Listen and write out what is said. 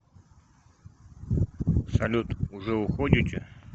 салют уже уходите